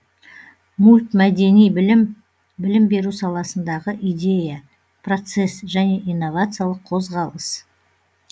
мультмәдени білім білім беру саласындағы идея процесс және инновациялық қозғалыс